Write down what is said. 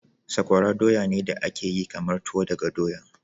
Sakwara doya ne da aka yi kamar tuwo daga doya.